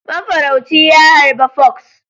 Mafarauci ya harba fox.